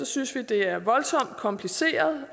synes vi det er voldsomt kompliceret